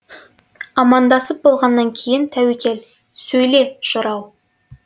амандасып болғаннан кейін тәуекел сөйле жырау